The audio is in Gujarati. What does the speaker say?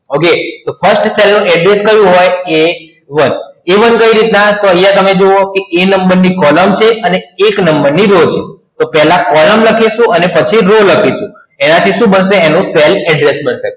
okay તો first cell નો address કેવું હોય a one a one કેવી રીત ના આયા તમે જોવો એ નંબર ની column છે અને એક નંબર ની row છે પેલા column લખીસું પછી row લખીસું એના થી cell addres